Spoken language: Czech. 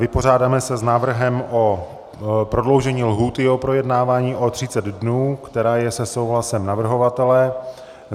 Vypořádám se s návrhem na prodloužení lhůty u projednávání o 30 dnů, která je se souhlasem navrhovatele.